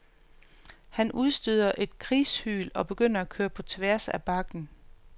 Han udstøder et krigshyl og begynder at køre på tværs af bakken.